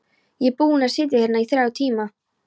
Ég er búinn að sitja hérna í þrjá tíma.